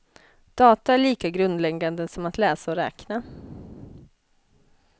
Data är lika grundläggande som att läsa och räkna.